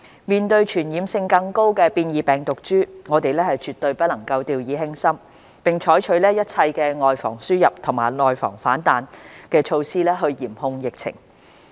面對傳染性更高的變異病毒株，我們絕不能掉以輕心，並須採取一切"外防輸入、內防反彈"的措施嚴控疫情。